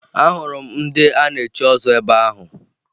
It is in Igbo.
Ahụrụ m ndị a na-echi ọzọ ebe ahụ